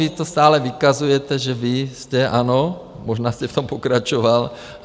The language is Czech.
Vy to stále vykazujete, že vy jste, ano, možná jste v tom pokračoval.